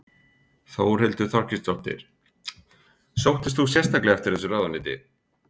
Þórhildur Þorkelsdóttir: Sóttist þú sérstaklega eftir þessu ráðuneyti?